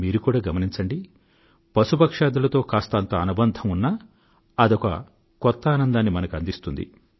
మీరు కూడా గమనించండి పశుపక్ష్యాదులతో కాస్తంత అనుబంధం ఉన్నా అదొక కొత్త ఆనందాన్ని మనకు అందిస్తుంది